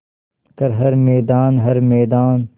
कर हर मैदान हर मैदान